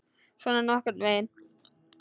Svona nokkurn veginn.